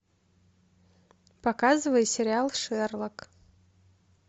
показывай сериал шерлок